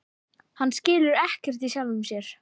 Hann skilur ekkert í sjálfum sér.